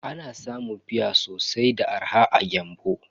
Ana samun fia sosai da arha a Gembu.